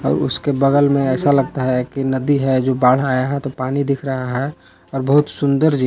और उसके बगल में ऐसा लगता है कि नदी है जो बाढ़ आया है तो पानी दिख रहा है और बहुत सुंदर